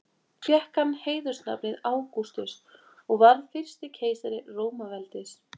Fékk hann heiðursnafnið Ágústus og varð fyrsti keisari Rómaveldis.